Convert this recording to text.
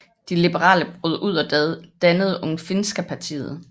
De liberale brød ud og dannede Ungfinska partiet